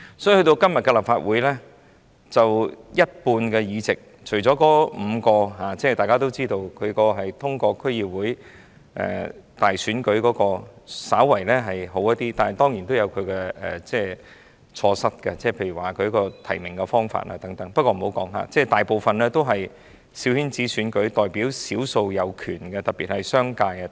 所以今天的立法會，大家也知道，除了5個議席通過區議會選舉產生，情況稍為好一點——但當然也有其錯失，例如提名方法等，我且不作深入討論——但我們大部分議席也是透過"小圈子"選舉產生，只代表少數的權力，特別是商界。